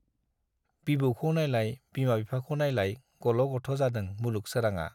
बिबौखौ नाइलाय, बिमा बिफाखौ नाइलाय गल' गथ' जादों मुलुग सोराङा।